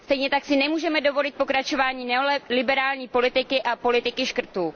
Stejně tak si nemůžeme dovolit pokračování neoliberální politiky a politiky škrtů.